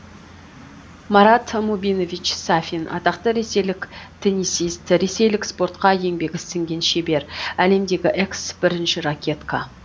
марат мубинович сафин атақты ресейлік теннисист ресейлік спортқа еңбегі сіңген шебер әлемдегі экс бірінші ракетка